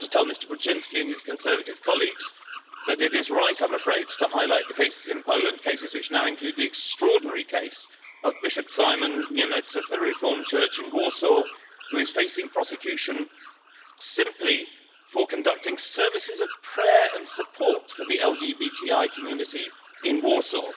I have to tell Mr Brudziński and his Conservative colleagues that it is right, I'm afraid, to highlight the cases in Poland cases which now include the extraordinary case of Bishop Szymon Niemiec of the Reformed Church in Warsaw, who is facing prosecution simply for conducting services of prayer and support for the LGBTI community in Warsaw.